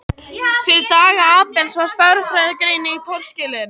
Fyrir daga Abels var stærðfræðigreining torskilin.